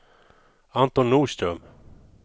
Anton Norström